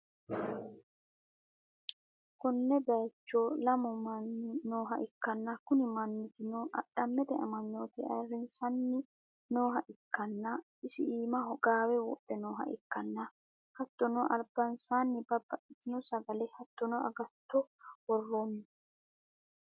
konne bayiccho lamu manni nooha ikkanna, kuni mannootino adhamete amanyoote ayrsiranni nooha ikkanna, isi iimaho gaawe wodhe nooha ikkanna, hattono albansaanni babbxxitino sagale hattono agatto worronni.